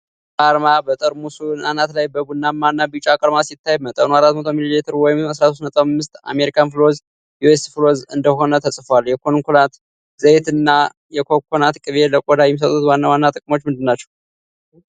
የዶቭ አርማ በጠርሙሱ አናት ላይ በ ቡናማ እና ቢጫ ቀለማት ሲታይ፤ መጠኑ 400 ሚሊ ሊትር ወይም 13.5 አሜሪካን ፍሎዝ (U.S. fl. oz.) እንደሆነ ተጽፏል። የኮኮናት ዘይትና የኮኮዋ ቅቤ ለቆዳ የሚሰጡት ዋና ዋና ጥቅሞች ምንድናቸው?